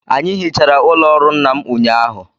Anyị hichara ụlọ ọrụ nna m ụnyahụ